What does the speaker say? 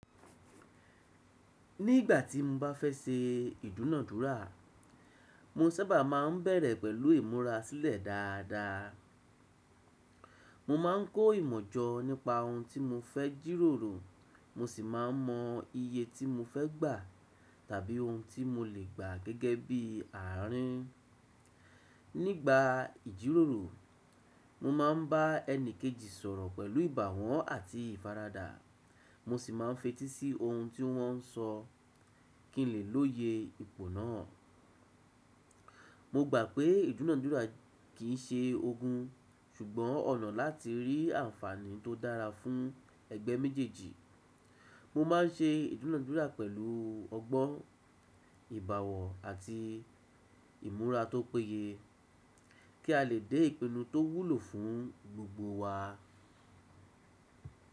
Nígbà tí mo bá fẹ́ ṣe ìdúnadúrà, mo sábà máa ń bẹ̀rẹ̀ pẹ̀lú ìmúra sílẹ̀ dáadáa. Mo máa ń kó ìmọ̀ jọ nípa ohun tí mo fẹ́ jíròrò, mo sì máa ń mọ iye tí mo fẹ́ gbà tàbí ohun tí mo lè gbà gẹ́gẹ́ bí àárín. Nígbà ìjíròrò, mo máa ń bá ẹni kejì sọ̀rọ̀ pẹ̀lú ìbàwọ̀ àti ìfaradà, mo sì máa ń fetí sí ohun tí wọ́n sọ kí n lè lóye ipò náà. Mo gbà pé ìdúnadúrà kì í ṣe ogun, ṣùgbọ́n ọ̀nà láti rí àǹfààní tó dára fún ẹgbẹ́ méjèèjì. Mo má a ń ṣe ìdúnadúrà pẹ̀lú ọgbọ́n, ìbàwọ̀ àti ìmúra tó péye kí a lè dé ìpinnu tó wúlò fún gbogbo wa.